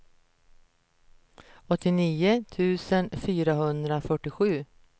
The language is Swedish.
åttionio tusen fyrahundrafyrtiosju